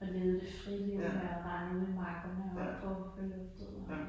Og levede det frie liv med at rende ved markene og hoppe oppe på høloftet og